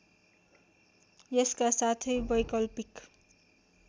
यसका साथै वैकल्पिक